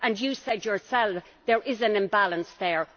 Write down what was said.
You said yourself there is an imbalance there.